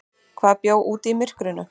Hvað bjó úti í myrkrinu?